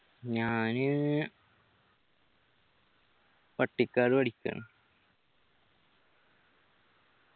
ഞാന് പട്ടിക്കാട് പഠിക്കാണ്